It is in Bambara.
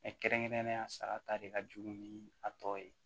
kɛrɛnkɛrɛnnenya sara ta de ka jugu ni a tɔ ye